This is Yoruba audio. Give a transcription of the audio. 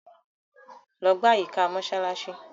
Logbà àyíkà Mósálàsí.